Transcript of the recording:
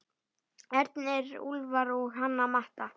Ernir, Úlfar og Hanna Matta.